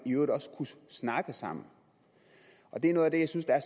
øvrigt også kunne snakke sammen det er noget af det jeg synes er